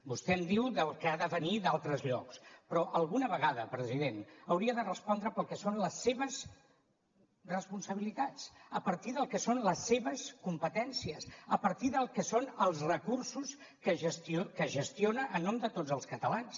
vostè em diu del que ha de venir d’altres llocs però alguna vegada president hauria de respondre pel que són les seves responsabilitats a partir del que són les seves competències a partir del que són els recursos que gestiona en nom de tots els catalans